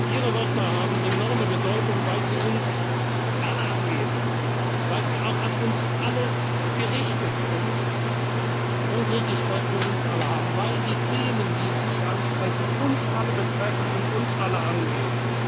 sind. Ihre Worte haben enorme Bedeutung, weil sie uns alle angehen, weil sie auch an uns alle gerichtet sind und Gültigkeit für uns alle haben, weil die Themen, die Sie ansprechen, uns alle betreffen und uns alle